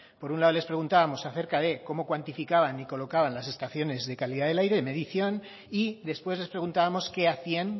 por un lado les preguntábamos acerca de cómo cuantificaban y colocaban las estaciones de calidad del aire medición y después les preguntábamos qué hacían